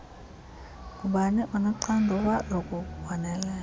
ngubani onoxanduva lokubonelela